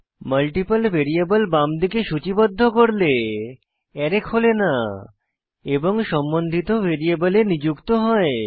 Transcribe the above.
multiple variable বামদিকে সূচিবদ্ধ করলে আরায় খোলে না এবং সম্বন্ধিত ভ্যারিয়েবলে নিযুক্ত হয়